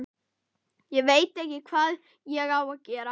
Ég veit ekki hvað ég á að gera